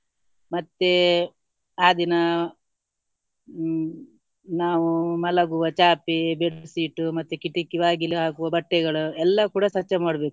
ಮತ್ತೆ ಆ ದಿನ ಹ್ಮ್ ನಾವು ಮಲಗುವ ಚಾಪೆ bedsheet ಮತ್ತೆ ಕಿಟಕಿ ಬಾಗಿಲು ಹಾಗು ಬಟ್ಟೆಗಳು ಎಲ್ಲ ಕೂಡ ಸ್ವಚ್ಛ ಮಾಡ್ಬೇಕು.